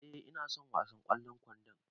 E, ina son wasan ƙwallon kwando.